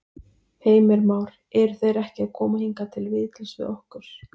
Heimir Már: Eru þeir ekki að koma hingað til viðtals við okkur?